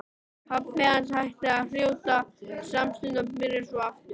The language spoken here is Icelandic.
Pabbi hans hætti að hrjóta smástund en byrjaði svo aftur.